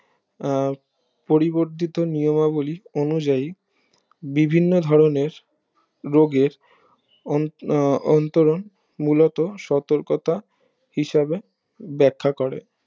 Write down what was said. আহ পরিবর্ধিত নিয়মগুলি অনুযায়ী বিভিন্ন ধরণের রোগের অন্তরণ মূলত সতর্কতা হিসাবে বেক্ষা করে